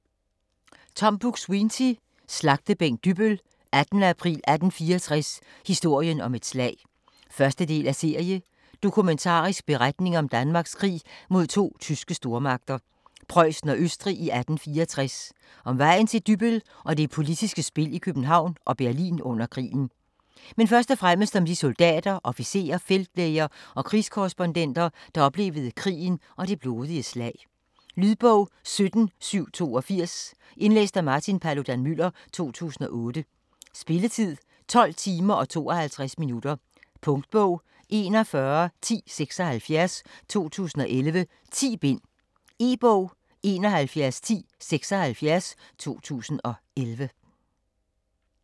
Buk-Swienty, Tom: Slagtebænk Dybbøl: 18. april 1864: historien om et slag 1. del af serie. Dokumentarisk beretning om Danmarks krig mod to tyske stormagter, Prøjsen og Østrig i 1864 - om vejen til Dybbøl og det politiske spil i København og Berlin under krigen. Men først og fremmest om de soldater, officerer, feltlæger og krigskorrespondenter, der oplevede krigen og det blodige slag. Lydbog 17782 Indlæst af Martin Paludan-Müller, 2008. Spilletid: 12 timer, 52 minutter. Punktbog 411076 2011. 10 bind. E-bog 711076 2011.